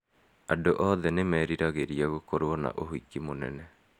Andũ othe nĩ meriragĩria gũkorũo na ũhiki mũnene.